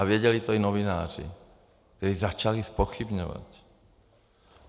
A věděli to i novináři, kteří začali zpochybňovat.